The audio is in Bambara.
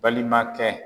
Balimakɛ